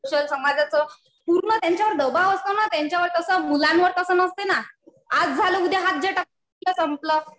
Pressure , समाजाचं पूर्ण त्यांच्यावर दबाव असतो ना तसा मुलांवर नसते ना. आज झालं उद्या हात झटकतात कि संपलं.